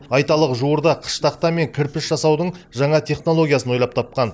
айталық жуырда қыш тақта мен кірпіш жасаудың жаңа технологиясын ойлап тапқан